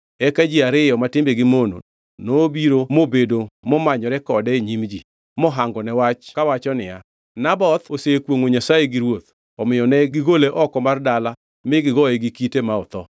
Eka ji ariyo ma timbegi mono nobiro mobedo momanyore kode e nyim ji, mohangone wach kawacho niya, “Naboth osekwongʼo Nyasaye gi ruoth.” Omiyo ne gigole oko mar dala mi gigoye gi kite ma otho.